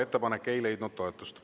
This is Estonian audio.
Ettepanek ei leidnud toetust.